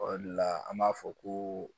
O de la an b'a fɔ ko